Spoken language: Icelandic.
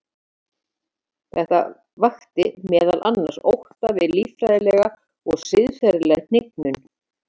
Þetta vakti meðal annars ótta við líffræðilega og siðferðilega hnignun.